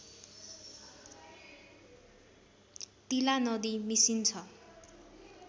तिलानदी मिसिन्छ